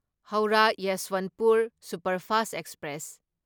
Howrah Yesvantpur superfast express